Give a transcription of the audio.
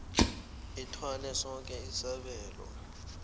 ithwale soke isabelo